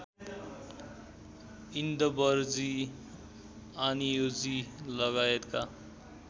इन्दवरजी आनियोजी लगायतका